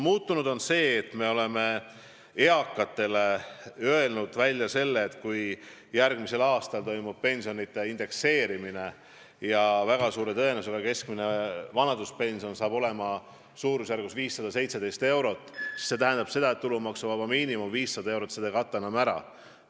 Muutunud on ka see, et me oleme eakatele välja öelnud, et kui järgmisel aastal toimub pensionide indekseerimine ja väga suure tõenäosusega keskmine vanaduspension saab olema umbes 517 eurot, siis see tähendab seda, et tulumaksuvaba miinimum 500 eurot seda ei kata enam ära.